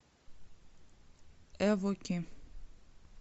эвоки